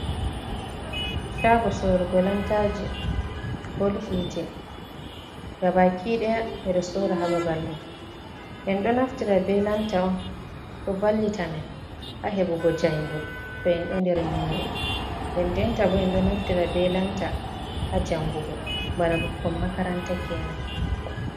Shaago sorugo lantaji bol hiite gabaki ɗaya ɓe ɗo sora sora ha babal ɗo, en ɗo naftira be lanta on ɗo vallita men ha heɓugo jayngol to en ɗo nder nyimre den denta bo en ɗo naftira be lanta ha jangugo bana ɓukkon makaranta kenan